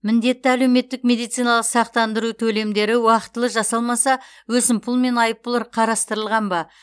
міндетті әлеуметтік медициналық сақтандыру төлемдері уақытылы жасалмаса өсімпұл мен айыппұл қарастырылған ба